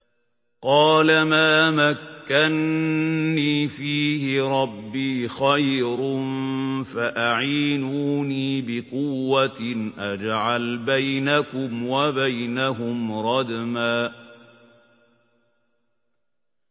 قَالَ مَا مَكَّنِّي فِيهِ رَبِّي خَيْرٌ فَأَعِينُونِي بِقُوَّةٍ أَجْعَلْ بَيْنَكُمْ وَبَيْنَهُمْ رَدْمًا